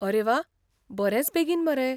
अरे वा, बरेंच बेगीन मरे!